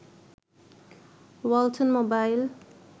Walton mobile